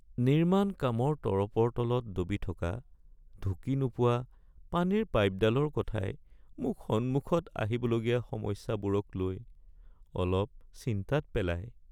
নিৰ্মাণ কামৰ তৰপৰ তলত দবি থকা ঢুকি নোপোৱা পানীৰ পাইপডালৰ কথাই মোক সন্মুখত আহিবলগীয়া সমস্যাবোৰকলৈ অলপ চিন্তাত পেলায়।